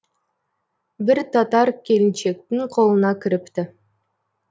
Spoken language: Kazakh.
бір татар келіншектің қолына кіріпті